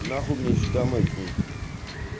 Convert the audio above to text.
нахуй мне ещё домой к ней идти